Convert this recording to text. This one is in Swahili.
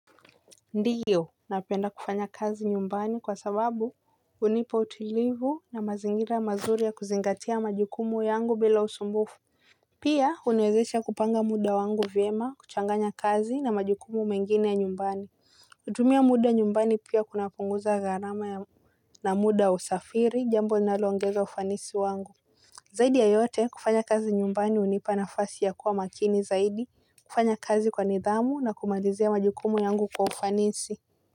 Ndiyo napenda kufanya kazi nyumbani kwa sababu hunipa utulivu na mazingira mazuri ya kuzingatia majukumu yangu bila usumbufu. Pia huniwezesha kupanga muda wangu vyema, kuchanganya kazi na majukumu mengine ya nyumbani. Kutumia muda nyumbani pia kunapunguza gharama ya na muda usafiri jambo linaloongeza ufanisi wangu. Zaidi ya yote kufanya kazi nyumbani hunipa nafasi ya kuwa makini zaidi. Kufanya kazi kwa nidhamu na kumalizia majukumu yangu kwa ufanisi.